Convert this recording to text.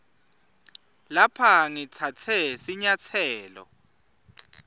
lapha ngitsatse sinyatselo